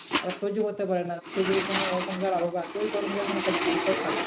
ওরা সহ্য করতে পারে না। সেইজন্য ওখানকার আবহাওয়া এতই গরম যে সবাই কালো।